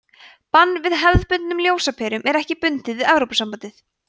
bann við hefðbundnum ljósaperum er ekki bundið við evrópusambandið